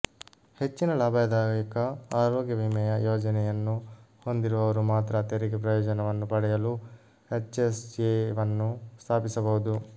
ಹೆಚ್ಚಿನ ಲಾಭದಾಯಕ ಆರೋಗ್ಯ ವಿಮೆಯ ಯೋಜನೆಯನ್ನು ಹೊಂದಿರುವವರು ಮಾತ್ರ ತೆರಿಗೆ ಪ್ರಯೋಜನವನ್ನು ಪಡೆಯಲು ಎಚ್ಎಸ್ಎವನ್ನು ಸ್ಥಾಪಿಸಬಹುದು